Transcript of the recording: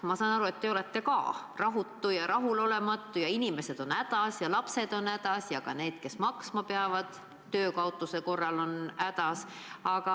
Ma saan aru, et ka teie olete rahulolematu, inimesed on hädas ja lapsed on hädas, need, kes peavad ka töö kaotamise korral elatisraha maksma, on hädas.